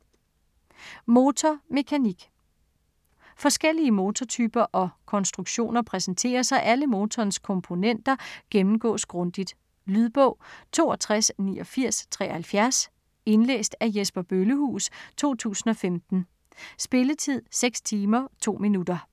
Motor - mekanik Forskellige motortyper og -konstruktioner præsenteres og alle motorens komponenter gennemgås grundigt. Lydbog 628973 Indlæst af Jesper Bøllehuus, 2015. Spilletid: 6 timer, 2 minutter.